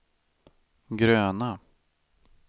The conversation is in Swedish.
gröna